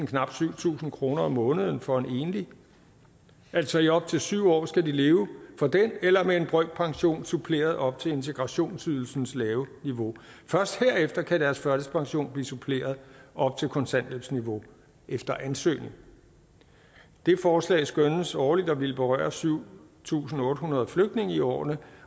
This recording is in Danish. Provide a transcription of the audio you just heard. knap syv tusind kroner om måneden for en enlig altså i op til syv år skal de leve for den eller med en brøkpension suppleret op til integrationsydelsens lave niveau først herefter kan deres førtidspension blive suppleret op til kontanthjælpsniveau efter ansøgning det forslag skønnes årligt at ville berøre syv tusind otte hundrede flygtninge i årene